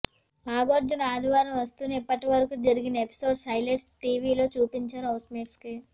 నాగార్జున ఆదివారం వస్తూనే ఇప్పటివరకూ జరిగిన ఎపిసోడ్స్ హైలైట్స్ టీవీలో చూపించారు హౌస్ మేట్స్ కి